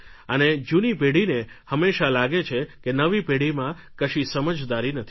અને જૂની પેઢીને હંમેશા લાગે છે કે નવી પેઢીમાં કશી સમજદારી નથી